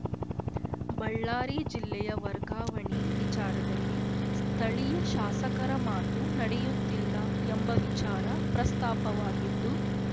ಬಳ್ಳಾರಿ ಜಿಲ್ಲೆಯ ವರ್ಗಾವಣೆ ವಿಚಾರದಲ್ಲಿ ಸ್ಥಳೀಯ ಶಾಸಕರ ಮಾತು ನಡೆಯುತ್ತಿಲ್ಲ ಎಂಬ ವಿಚಾರ ಪ್ರಸ್ತಾಪವಾಗಿದ್ದು